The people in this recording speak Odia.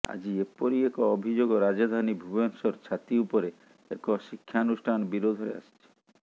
ଆଜି ଏପରି ଏକ ଅଭିଯୋଗ ରାଜଧାନୀ ଭୁବନେଶ୍ୱର ଛାତି ଉପରେ ଏକ ଶିକ୍ଷାନୁଷ୍ଠାନ ବିରୋଧରେ ଆସିଛି